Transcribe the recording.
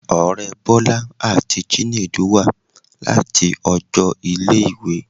Ọrẹ Bola ati Chinedu wa lati ọjọ ile-iwe